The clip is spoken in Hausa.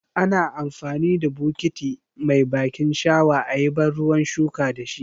Ana amfani da bukiti mai bakin shawa ayi ban ruwan shuka dashi.